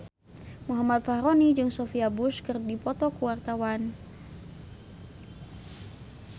Muhammad Fachroni jeung Sophia Bush keur dipoto ku wartawan